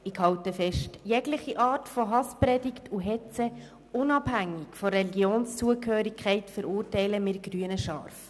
Ich halte fest: Jegliche Art von Hasspredigt und Hetze, unabhängig von der Religionszugehörigkeit, verurteilen wir Grüne scharf.